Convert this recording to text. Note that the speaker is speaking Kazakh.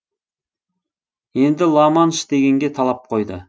енді ла манш дегенге талап қойды